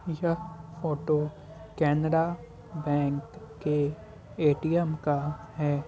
यह photo Canara bank के ATM का है।